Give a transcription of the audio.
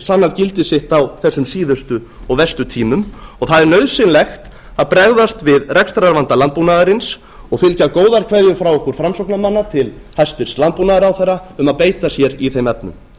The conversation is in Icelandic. sannað gildi sitt á þessum síðustu og verstu tímum og það er nauðsynlegt að bregðast við rekstrarvanda landbúnaðarins og fylgja góðar kveðjur frá okkur framsóknarmönnum til hæstvirts landbúnaðarráðherra um að beita sér í þeim efnum